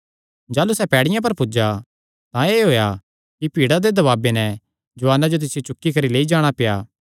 जाह़लू सैह़ पैड़ियां पर पुज्जा तां एह़ होएया कि भीड़ा दे दबाबे नैं जुआना जो तिसियो चुक्की करी लेई जाणा पेआ